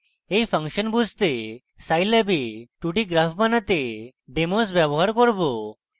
এই ফাংশন বুঝতে আমরা scilab we 2d graphs বানাতে demos ব্যবহার করব